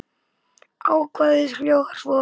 Ákvæðið hljóðar svo